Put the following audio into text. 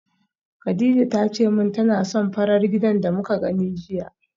Kadija tace min tana son farar gidan da muka gani jiya